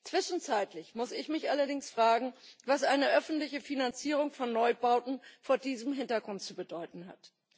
Zwischenzeitlich muss ich mich allerdings fragen, was eine öffentliche Finanzierung von Neubauten vor diesem Hintergrund zu bedeuten hat.